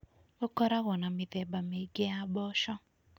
Gũkoragwo na mĩthemba mĩingĩ ya mboco.